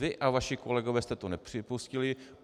Vy a vaši kolegové jste to nepřipustili.